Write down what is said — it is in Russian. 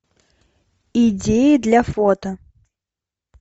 идеи для фото